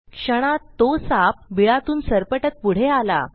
क्षणात तो साप बिळातून सरपटत पुढे आला